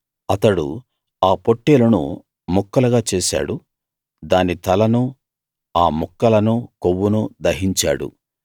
అతడు ఆ పొట్టేలును ముక్కలుగా చేసాడు దాని తలనూ ఆ ముక్కలనూ కొవ్వునూ దహించాడు